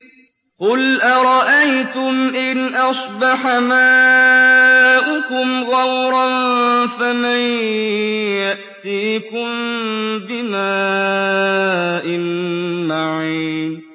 قُلْ أَرَأَيْتُمْ إِنْ أَصْبَحَ مَاؤُكُمْ غَوْرًا فَمَن يَأْتِيكُم بِمَاءٍ مَّعِينٍ